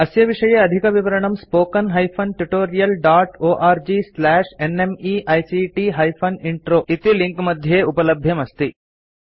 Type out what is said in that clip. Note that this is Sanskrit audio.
अस्य विषये अधिकविवरणं spoken hyphen tutorial dot org slash NMEICT hyphen intro इति लिंक मध्ये उपलब्धमस्ति